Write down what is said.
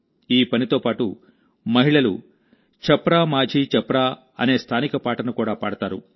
ఈ పనితో పాటుమహిళలు ఛప్రా మాఝీ ఛప్రా అనే స్థానిక పాటను కూడా పాడతారు